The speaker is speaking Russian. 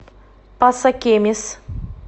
пасакемис